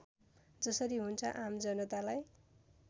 जसरी हुन्छ आमजनतालाई